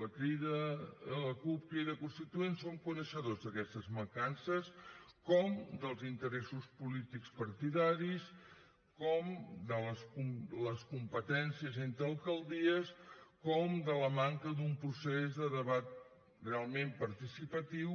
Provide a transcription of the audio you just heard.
la cup crida constituent som coneixedors d’aquestes mancances com dels interessos polítics partidaris com de les competències entre alcaldies com de la manca d’un procés de debat realment participatiu